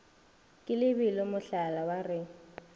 ke lebelo mohlaba wa re